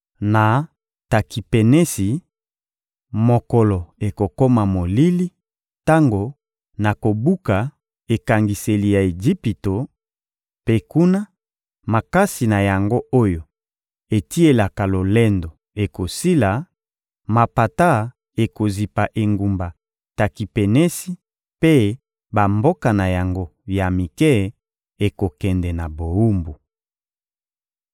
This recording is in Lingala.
Na Takipenesi, mokolo ekokoma molili tango nakobuka ekangiseli ya Ejipito; mpe kuna, makasi na yango oyo etielaka lolendo ekosila; mapata ekozipa engumba Takipenesi mpe bamboka na yango ya mike ekokende na bowumbu.